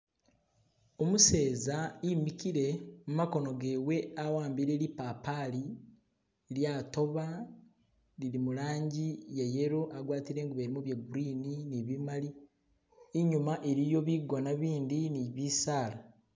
Umuseza imikile, mumakono gewe awambile lipapali lyatoba lili mulanji iye yellow agwatile ingubo ilimo bye green ni bimali inyuma iliyo bigona bindi ni bisala.